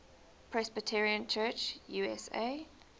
presbyterian church usa